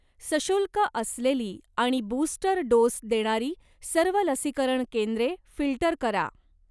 सशुल्क असलेली आणि बूस्टर डोस देणारी सर्व लसीकरण केंद्रे फिल्टर करा.